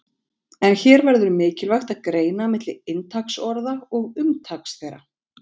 En hér verður mikilvægt að greina milli inntaks orða og umtaks þeirra.